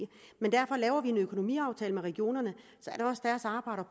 derfor laver vi en økonomiaftale med regionerne